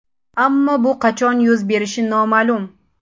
Ammo bu qachon yuz berishi noma’lum.